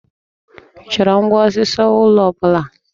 Ị chọrọ ngwá osisi ụlọ ọ bụla?